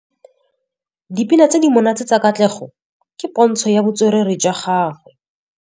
Dipina tse di monate tsa Katlego ke pôntshô ya botswerere jwa gagwe.